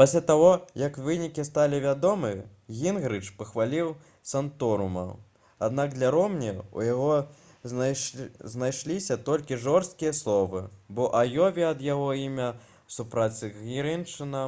пасля таго як вынікі сталі вядомы гінгрыч пахваліў санторума аднак для ромні ў яго знайшліся толькі жорсткія словы бо ў аёве ад яго імя супраць гінгрыча